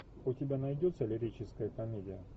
у тебя найдется лирическая комедия